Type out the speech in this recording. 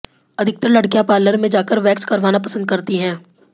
अधिकतर लड़कियां पार्लर में जाकर वैक्स करवाना पसंद करती हैं